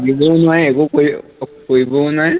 দিবও নোৱাৰে একো কৰিকৰিবও নোৱাৰে